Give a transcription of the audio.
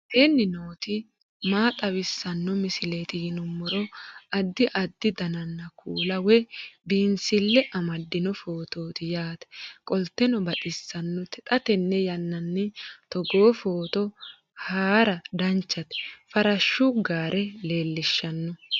aleenni nooti maa xawisanno misileeti yinummoro addi addi dananna kuula woy biinsille amaddino footooti yaate qoltenno baxissannote xa tenne yannanni togoo footo haara danchate farashshu gaare leellishshanno